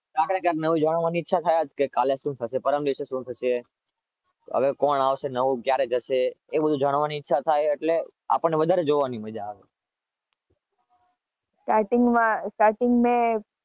નવું જાણવાની ઈચ્છા થાય જ કે કાલે શું થશે પરમ દિવસે શું થશે?